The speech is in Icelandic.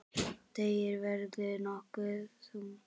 Deigið verður nokkuð þunnt.